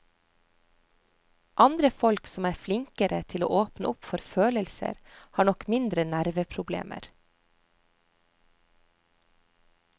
Andre folk som er flinkere til å åpne opp for følelser, har nok mindre nerveproblemer.